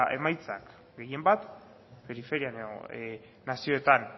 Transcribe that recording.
emaitzak gehien bat periferian nazioetan